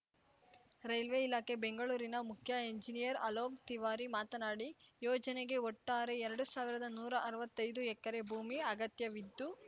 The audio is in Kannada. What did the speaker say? ರೈಲ್ವೆ ಇಲಾಖೆ ಬೆಂಗಳೂರಿನ ಮುಖ್ಯ ಎಂಜಿನಿಯರ್‌ ಅಲೋಕ್‌ ತಿವಾರಿ ಮಾತನಾಡಿ ಯೋಜನೆಗೆ ಒಟ್ಟಾರೆ ಎರಡು ಸಾವಿರದ ನೂರಾ ಅರ್ವತ್ತೈದು ಎಕರೆ ಭೂಮಿ ಅಗತ್ಯವಿದ್ದು